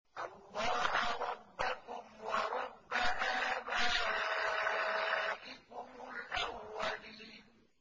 اللَّهَ رَبَّكُمْ وَرَبَّ آبَائِكُمُ الْأَوَّلِينَ